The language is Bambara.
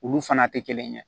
Olu fana tɛ kelen ye